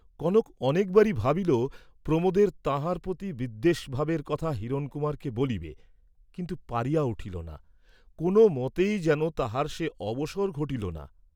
কনক অনেকবারই ভাবিল, প্রমোদের তাঁহার প্রতি বিদ্বেষভাবের কথা হিরণকুমারকে বলিবে, কিন্তু পারিয়া উঠিল না, কোন মতেই যেন তাহার সে অবসর ঘটিল না।